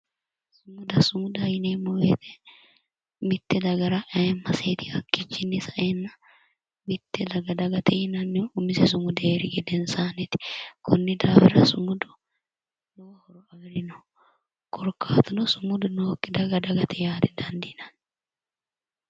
Sumudaho yineemmo woyte mitte dagara ayeemmaseeti qoleno hakkiichiinni sa"eenna mitte daga dagate yinannihu umise sumudi heeri gedensaanniiti konni daafira sumudu lowo horo afirino korkaatuno sumudu nookki daga dagate yaa didandiinanni